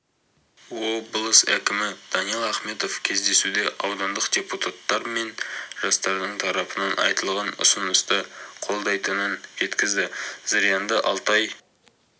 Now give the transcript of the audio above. облыс әкімі даниал ахметов кездесуде аудандық депутаттар мен жастардың тарапынан айтылған ұсынысты қолдайтынын жеткізді зырянды алтай